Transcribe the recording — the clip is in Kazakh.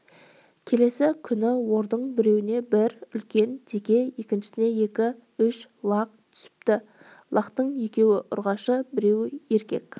келесі күні ордың біреуіне бір үлкен теке екіншісіне үш лақ түсіпті лақтың екеуі ұрғашы біреуі еркек